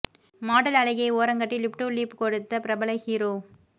model அழகியை ஓரங்கட்டி lip to lip கொடுத்த பிரபல ஹீரோ